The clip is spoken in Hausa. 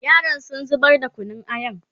yaran sun zubar da Kunun ayan